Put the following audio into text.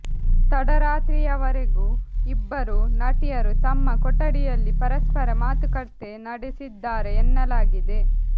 ತಡರಾತ್ರಿವರೆಗೂ ಇಬ್ಬರೂ ನಟಿಯರು ತಮ್ಮ ಕೊಠಡಿಯಲ್ಲಿ ಪರಸ್ಪರ ಮಾತುಕತೆ ನಡೆಸಿದ್ದಾರೆ ಎನ್ನಲಾಗಿದೆ